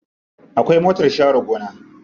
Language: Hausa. Akwai motar share gona.